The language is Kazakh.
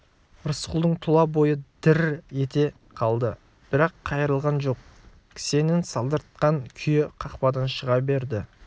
рысқұлдың тұла бойы дір-р ете қалды бірақ қайырылған жоқ кісенін салдыратқан күйі қақпадан шыға берді